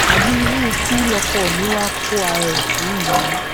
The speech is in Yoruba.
àbí irú kí lọkọ mi wàá kó ara ẹ sí yìí